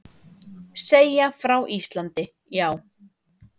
Segja frá Íslandi, já.